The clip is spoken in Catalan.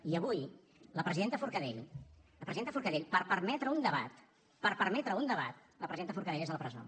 i avui la presidenta forcadell la presidenta forcadell per permetre un debat per permetre un debat la presidenta forcadell és a la presó